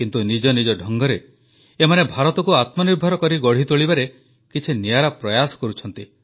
କିନ୍ତୁ ନିଜ ନିଜ ଢଙ୍ଗରେ ଏମାନେ ଭାରତକୁ ଆତ୍ମନିର୍ଭର କରି ଗଢ଼ି ତୋଳିବାରେ କିଛି ନିଆରା ପ୍ରୟାସ କରୁଛନ୍ତି